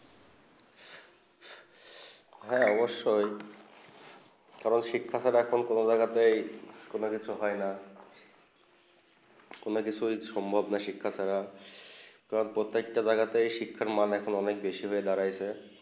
হেঁ অবসয়ে কারণ শিক্ষা সারাতন কোনো জায়গা কোনো কিছু হয়ে না কোনো কিছু সম্ভব না শিক্ষা ছাড়া প্রত্যেক তা জায়গা শিক্ষা মান অনেক বেশি হয়ে দাঁড়িয়েছে